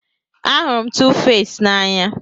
Ahụrụ m Tuface n'anya